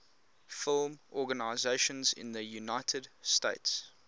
film organizations in the united states